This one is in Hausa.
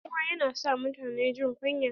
Buguwa yana sa mutune jin kunya.